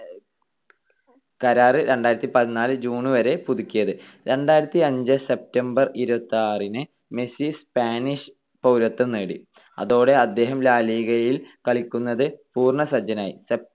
കരാർ രണ്ടായിരത്തിപതിനാല് june വരെ പുതുക്കിയത്. രണ്ടായിരത്തിഅഞ്ച്‌ september ഇരുപത്തിയാറിന് മെസ്സി സ്പാനിഷ് പൗരത്വം നേടി. അതോടെ അദ്ദേഹം ലാ ലിഗയിൽ കളിക്കുന്നത് പൂർണ്ണസജ്ജനായി.